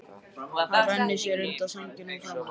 Hún rennir sér undan sænginni og fram úr.